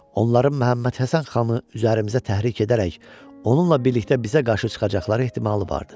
Onların Məhəmməd Həsən xanı üzərimizə təhrik edərək, onunla birlikdə bizə qarşı çıxacaqları ehtimalı vardı.